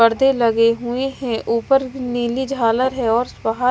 पर्दे लगे हुए हैं ऊपर नीली झालर है और वहां--